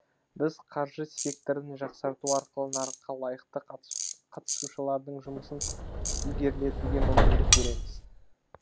біз қаржы секторын жақсарту арқылы нарыққа лайықты қатысушылардың жұмысын ілгерілетуге мүмкіндік береміз